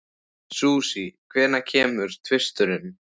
Susie, hvenær kemur tvisturinn?